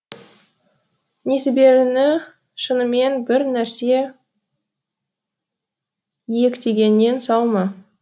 несіберіні шынымен бір нәрсе иектегеннен сау ма